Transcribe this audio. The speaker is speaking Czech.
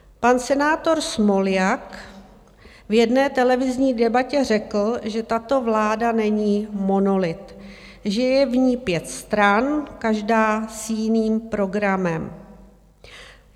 Pan senátor Smoljak v jedné televizní debatě řekl, že tato vláda není monolit, že je v ní pět stran, každá s jiným programem.